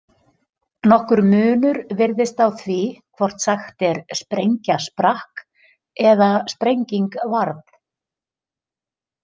Nokkur munur virðist á því hvort sagt er sprengja sprakk eða sprenging varð.